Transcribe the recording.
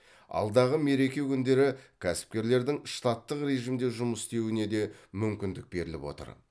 алдағы мереке күндері кәсіпкерлердің штаттық режимде жұмыс істеуіне де мүмкіндік беріліп отыр